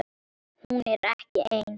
Hún er ekki ein.